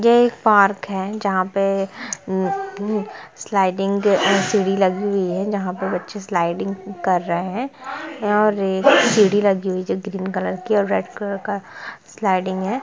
ये एक पार्क है जहां पे अ एम स्लाइडिंग साइड लगी हुई है जहा पे बच्चे स्लाइडिंग कर रहे है और एक सीढ़ी लगी हुई ग्रीन कलर की और रेड कलर का स्लाइडिंग है।